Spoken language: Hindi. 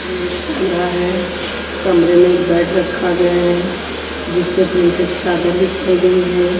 ये कमरा है कमरे में एक बेड रखा गया है जिस पे प्रिंटेड चादर बिछाई गई है।